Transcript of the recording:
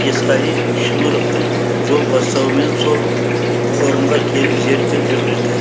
есқали шымыровтың жол бастауымен сол қорымға келіп зерттеу жүргізді